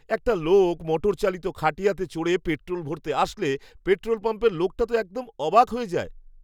একটা লোক মোটর চালিত খাটিয়াতে চড়ে পেট্রোল ভরতে আসলে, পেট্রোল পাম্পের লোকটা তো একদম অবাক হয়ে যায়।